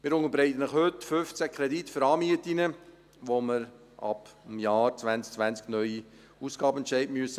Wir unterbreiten Ihnen heute 15 Kredite für Anmieten, für die wir ab dem Jahr 2020 einen neuen Ausgabenentscheid fällen müssen.